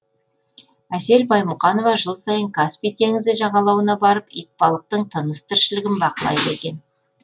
әсел баймұқанова жыл сайын каспий теңізі жағалауына барып итбалықтың тыныс тіршілігін бақылайды екен